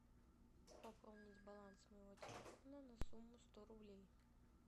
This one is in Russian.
пополнить баланс моего телефона на сумму сто рублей